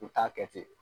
U t'a kɛ ten